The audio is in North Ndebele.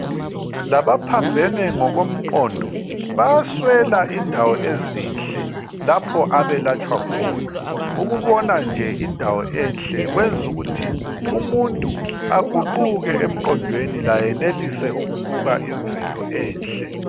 Labaphambene ngokomqondo ,bayaswela indawo ezinhle ,lapho abelatshwa khona. Ukubona nje indawo enhle kwenzukuthi umuntu aguquke emqondweni laye enelise ukubuka imvelo enhle.